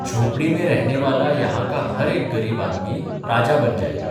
झोपडी में रहनेवाला यहां का हर एक गरीब आदमी राजा बन जायेगा.